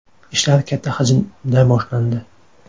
Ishlar katta hajmda boshlandi.